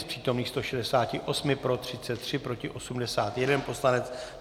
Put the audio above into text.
Z přítomných 168 pro 33, proti 81 poslanec.